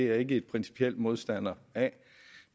jeg ikke principielt modstander af